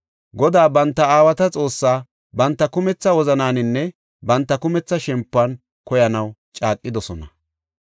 Godaa banta aawata Xoossaa banta kumetha wozanaaninne banta kumetha shempuwan koyanaw caaqidosona.